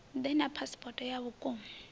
ḓe na phasipoto ya vhukuma